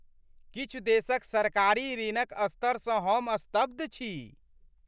किछु देशक सरकारी ऋणक स्तरसँ हम स्तब्ध छी।